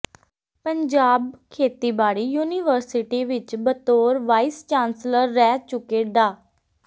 ਪੰਜਾਬ ਖੇਤੀਬਾੜੀ ਯੂਨੀਵਰਸਿਟੀ ਵਿਚ ਬਤੌਰ ਵਾਈਸ ਚਾਂਸਲਰ ਰਹਿ ਚੁੱਕੇ ਡਾ